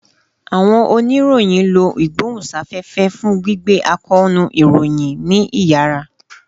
Awọn oniroyin lo igbohunsafefe fun gbigbe akoonu iroyin ni iyara